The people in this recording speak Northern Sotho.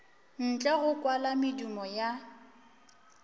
ntle go kwala medumo ya